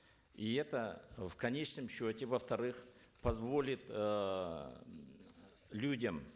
и это в конечном счете во вторых позволит эээ людям